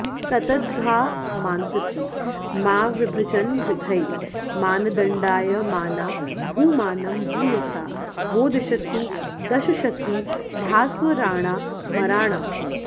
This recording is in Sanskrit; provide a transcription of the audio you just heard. तत्तद्धामान्तसीमाविभजनविधये मानदण्डायमाना भूमानं भूयसा वो दिशतु दशशती भास्वराणामराणाम्